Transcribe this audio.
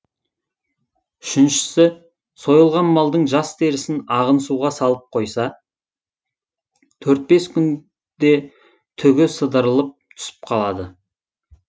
үшіншісі сойылған малдың жас терісін ағын суға салып қойса төрт бес күнде түгі сыдырылып түсіп қалады